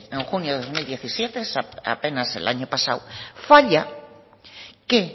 en junio de dos mil diecisiete apenas el año pasado falla que